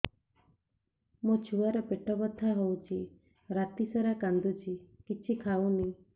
ମୋ ଛୁଆ ର ପେଟ ବଥା ହଉଚି ରାତିସାରା କାନ୍ଦୁଚି କିଛି ଖାଉନି